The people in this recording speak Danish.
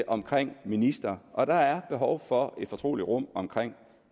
omkring ministre og at der er behov for et fortroligt rum omkring